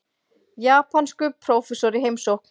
Japanskur prófessor í heimsókn.